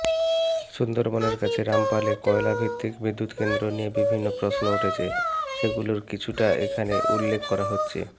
সুন্দরবনের কাছে রামপালে কয়লাভিত্তিক বিদ্যুৎকেন্দ্র নিয়ে বিভিন্ন প্রশ্ন উঠেছে সেগুলোর কিছুটা এখানে উল্লেখ করা হচ্ছে